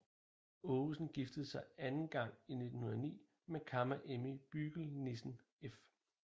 Aagesen giftede sig anden gang i 1909 med Kamma Emmy Bügel Nissen f